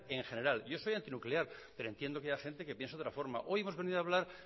en general yo soy antinuclear pero entiendo que haya gente que piense de otra forma hoy hemos venido a hablar